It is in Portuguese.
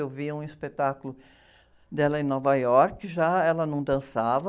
Eu via um espetáculo dela em Nova Iorque, já ela não dançava,